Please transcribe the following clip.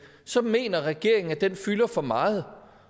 så mener regeringen at den fylder for meget